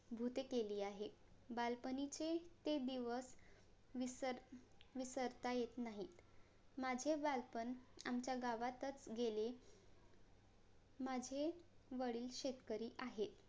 भुते केली आहे बालपणीचे ते दिवस विसर विसरता येत नाहीत माझे बालपण आमचा गावातच गेले माझे वडील शेतकरी आहे